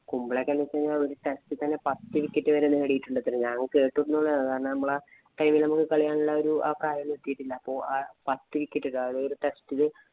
കുംബ്ലെ ഒക്കെ എന്ന് വച്ച് കഴിഞ്ഞാല്‍ ഒര test ഇല്‍ തന്നെ പത്ത് wicket തന്നെ നേടിയിട്ടുണ്ടത്രെ. ഞാന്‍ കേട്ടിട്ടുള്ളയാണ്. കാരണം നമ്മക്ക് കളി കാണാനുള്ള ആയ ഒരു പ്രായം എത്തിയിട്ടില്ല. അപ്പൊ പത്ത് wicket ഇടും ആ ഒരു test ഇല്